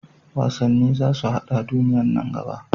Wasanni za su haɗa duniya nan gaba.